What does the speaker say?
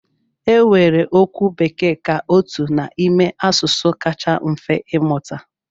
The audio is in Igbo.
E weere okwu Bekee ka otu n'ime asụsụ kacha mfe ịmụta.